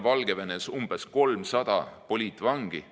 Valgevenes on umbes 300 poliitvangi.